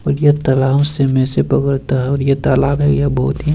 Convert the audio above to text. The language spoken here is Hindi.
और ये तालाब से में से पकड़ता है और ये तालाब है यह बहोत ही --